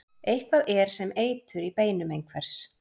Eitthvað er sem eitur í beinum einhvers